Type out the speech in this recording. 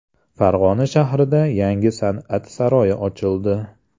Farg‘ona shahrida yangi San’at saroyi ochildi.